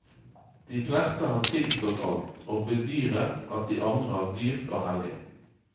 De fleste har tilstått alt og bedyret at de angrer dyrt og hellig.